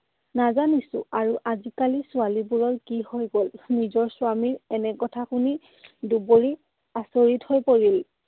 নাজানিছো আৰু আজিকালিৰ ছোৱালীবোৰৰ কি হৈ গ'ল? নিজৰ স্বামীৰ এনে কথা শুনি দুবৰি আচৰিত হৈ পৰিল।